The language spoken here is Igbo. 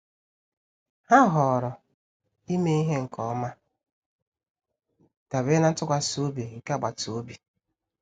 Ha họọrọ imeghe nke ọma, dabere na ntụkwasị obi nke agbata obi.